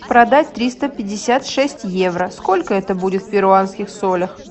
продать триста пятьдесят шесть евро сколько это будет в перуанских солях